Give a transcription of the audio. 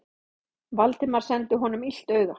Valdimar sendi honum illt auga.